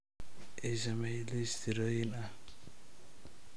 ii samee liis tirooyin ah